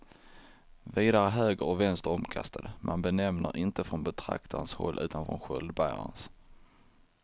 Vidare är höger och vänster omkastade, man benämner inte från betraktarens håll utan från sköldbärarens.